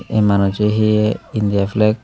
ei manusso he indiya flag.